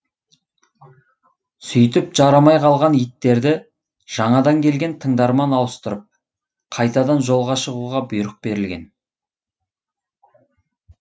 сөйтіп жарамай қалған иттерді жаңадан келген тыңдармен ауыстырып қайтадан жолға шығуға бұйрық берілген